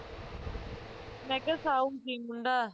ਮੈਂ ਕਿਹਾ ਸਾਊ ਸੀ ਮੁੰਡਾ